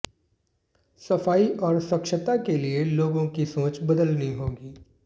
सफाई और स्वच्छता के लिए लोगों की सोच बदलनी होगी